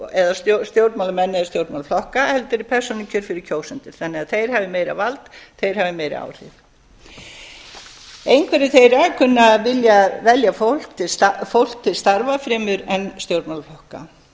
eða stjórnmálamenn eða stjórnmálaflokka heldur er persónukjör fyrir kjósendur þannig að þeir hafi meira vald þeir hafi meiri áhrif einhverjir þeirra kunna að vilja velja fólk til starfa fremur en stjórnmálaflokka og